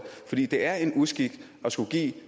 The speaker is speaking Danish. det er en uskik at skulle give